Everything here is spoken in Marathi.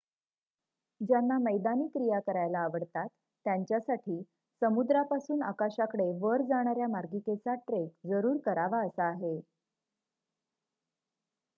ज्यांना मैदानी क्रिया करायला आवडतात त्यांच्यासाठी समुद्रापासून आकाशाकडे वर जाणाऱ्या मार्गिकेचा ट्रेक जरूर करावा असा आहे